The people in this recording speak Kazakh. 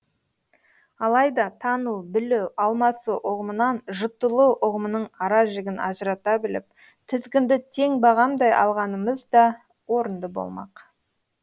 алайда тану білу алмасу ұғымынан жұтылу ұғымының аражігін ажырата біліп тізгінді тең бағамдай алғанымыз да орынды болмақ